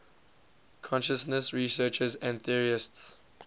consciousness researchers and theorists